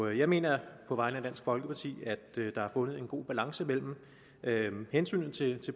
jeg mener på vegne af dansk folkeparti at der er fundet en god balance mellem mellem hensynet til